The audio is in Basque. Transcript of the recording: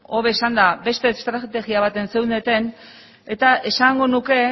hobe esanda beste estrategia batea zeundeten eta esango nuke